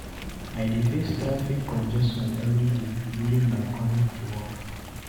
I dey face traffic congestion every day during my commute to work.